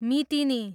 मितिनी